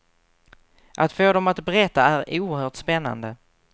Att få dem att berätta är oerhört spännande.